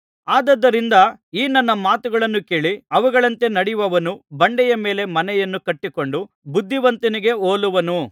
ಆದುದರಿಂದ ಈ ನನ್ನ ಮಾತುಗಳನ್ನು ಕೇಳಿ ಅವುಗಳಂತೆ ನಡೆಯುವವನು ಬಂಡೆಯ ಮೇಲೆ ಮನೆಯನ್ನು ಕಟ್ಟಿಕೊಂಡ ಬುದ್ಧಿವಂತನಿಗೆ ಹೋಲುವನು